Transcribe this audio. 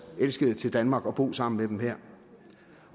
elskede til danmark og bo sammen med dem her